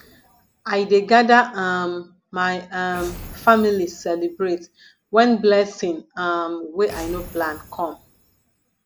i dey gada um my um family celebrate wen blessing um wey i no plan come